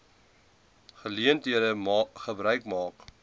geleentheid gebruik maak